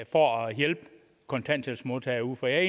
for at hjælpe kontanthjælpsmodtagerne for jeg er